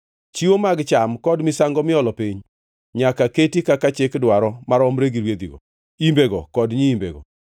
Chiwo mag cham kod misango miolo piny nyaka keti kaka chik dwaro maromre gi rwedhigo, imbego kod nyiimbego.